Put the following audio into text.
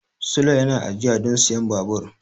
Sule yana ajiya don siyan babur.